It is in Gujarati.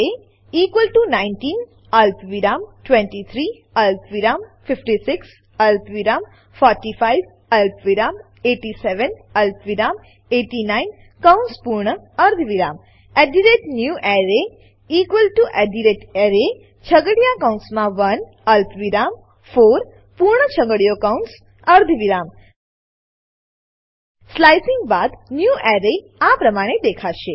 array 19 અલ્પવિરામ 23 અલ્પવિરામ 56 અલ્પવિરામ 45 અલ્પવિરામ 87 અલ્પવિરામ 89 કૌંસ પૂર્ણ અર્ધવિરામ newArray array છગડીયા કૌંસમાં 1 અલ્પવિરામ 4 પૂર્ણ છગડીયો કૌંસ અર્ધવિરામ સ્લાઇસિંગ સ્લાઈસીંગ બાદ ન્યૂવેરે આ પ્રમાણે દેખાશે